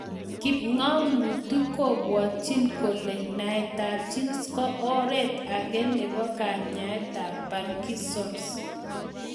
Kipng'amutik kopwatchin kole naetab genes ko oret ake nebo kanyaetab parkinson's